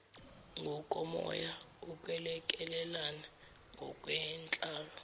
ngokomoya ukwelekelelana ngokwenhlalo